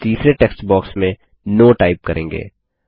और फिर तीसरे टेक्स्ट बॉक्स में नो टाइप करें